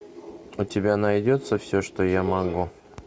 у тебя найдется все что я могу